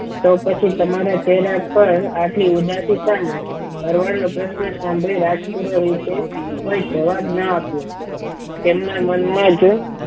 તો પછી તમારા ચહેરા પર આટલી ઉદાસી શા માટે ભરવાડ નો પ્રશ્ન સાંભળી રાજપુરો એ કોઈ જવાબ ના આપ્યો તેમના મનમાં જ